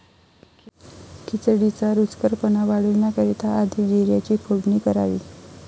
खिचडीचा रुचकरपणा वाढवण्याकरिता आधी जीऱ्याची फोडणी करावी.